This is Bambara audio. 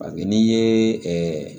A bɛ n'i ye ɛɛ